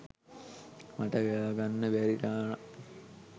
මට ගෙවා ගන්න බැරි ගාණක්.